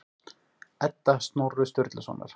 Edda Snorra Sturlusonar.